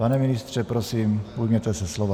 Pane ministře, prosím, ujměte se slova.